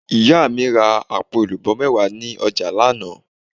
Ìyá mi ra àpò èlùbó méwàá ni ojà lánàá